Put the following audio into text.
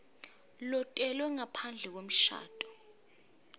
lotelwe ngaphandle kwemshado